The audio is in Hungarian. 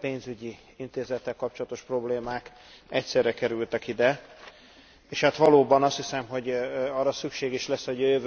pénzügyi intézettel kapcsolatos problémák egyszerre kerültek ide, és hát valóban, azt hiszem arra szükség is lesz, hogy a jövőben mind a két intézménnyel hosszasabban foglalkozzunk.